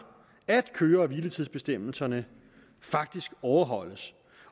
at køre og hviletidsbestemmelserne faktisk overholdes